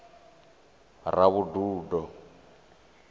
ravhududo